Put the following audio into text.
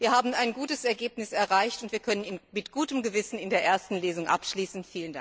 Wir haben ein gutes Ergebnis erreicht, und wir können mit gutem Gewissen in der ersten Lesung abschließen.